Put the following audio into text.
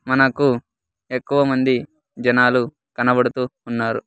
మనకు ఎక్కువ మంది జనాలు కనబడుతూ ఉన్నారు.